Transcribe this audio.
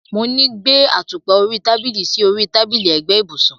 Mo ní gbé àtùpà orí tábìlì sí orí tábìlì ẹ̀gbẹ́ ibùsùn.